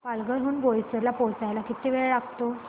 पालघर हून बोईसर ला पोहचायला किती वेळ लागतो